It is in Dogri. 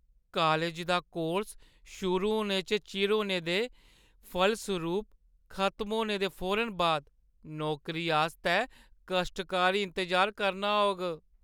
कालज दा कोर्स शुरू होने च चिर होने दे फलसरूप खतम होने दे फौरन बाद नौकरी आस्तै कश्टकारी इंतजार करना होग।